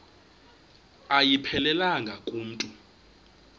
ayiphelelanga ku mntu